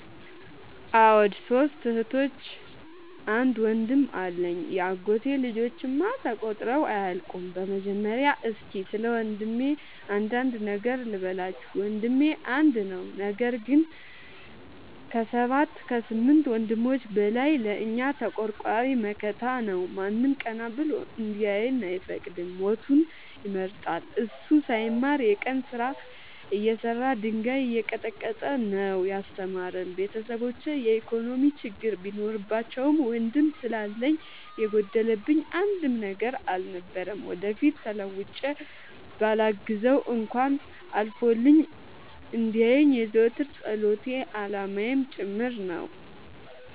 አዎ ሶስት እህቶች አንድ ወንድም አለኝ የአጎቴ ልጆች እማ ተቆጥረው አያልቁም። በመጀመሪያ እስኪ ስለወንድሜ አንዳንድ ነገር ልበላችሁ። ወንድሜ አንድ ነው ነገር ግን አሰባት ከስምንት ወንድሞች በላይ ለእኛ ተቆርቋሪ መከታ ነው። ማንም ቀና ብሎ እንዲያየን አይፈቅድም ሞቱን ይመርጣል። እሱ ሳይማር የቀን ስራ እየሰራ ድንጋይ እየቀጠቀጠ ነው። ያስተማረን ቤተሰቦቼ የኢኮኖሚ ችግር ቢኖርባቸውም ወንድም ስላለኝ የጎደለብኝ አንድም ነገር አልነበረም። ወደፊት ተለውጬ በላግዘው እንኳን አልፎልኝ እንዲየኝ የዘወትር ፀሎቴ አላማዬም ጭምር ነው።